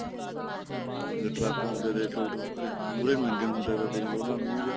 ਅੱਗੇ ਟਰੱਕ ਹੁੰਦੇ ਤੇ ਚੋਤਏ ਮੁਹਰੇ ਨੂੰ ਇੰਜਣ ਹੁੰਦਾ ਤਾਂ ਦੇਖ ਲੋ ਉਹਨਾ ਦਾ ਮੁੰਹ ਜਾ